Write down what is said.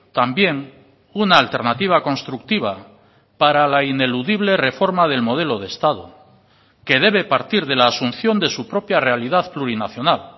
también una alternativa constructiva para la ineludible reforma del modelo de estado que debe partir de la asunción de su propia realidad plurinacional